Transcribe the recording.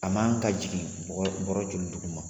A man ka jigin bɔrɛ joli duguma